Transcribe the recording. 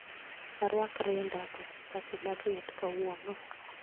Arwak rinda koso sati mar liet kawuono